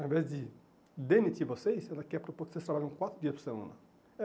ao invés de demitir vocês, ela quer propor que vocês trabalhem quatro dias por semana. É